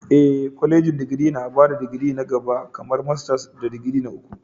Ee, kwalejin digiri na ba da digiri na gaba kamar masters da digiri na uku.